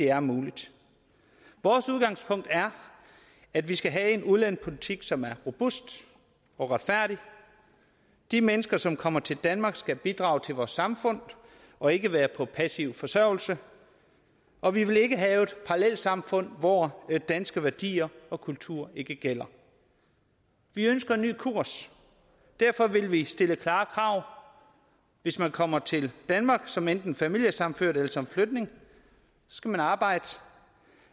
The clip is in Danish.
er muligt vores udgangspunkt er at vi skal have en udlændingepolitik som er robust og retfærdig de mennesker som kommer til danmark skal bidrage til vores samfund og ikke være på passiv forsørgelse og vi vil ikke have et parallelsamfund hvor danske værdier og kultur ikke gælder vi ønsker en ny kurs derfor vil vi stille klare krav hvis man kommer til danmark som enten familiesammenført eller som flygtning skal man arbejde